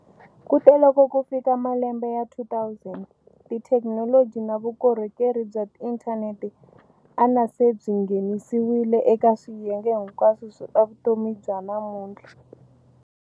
Kute loko ku fika malembe ya 2000, tithekinoloji na vukorhokeri bya inthaneti anase byi nghenisiwile eka swiyenge hinkwaswo swa vutomi bya namunhtla.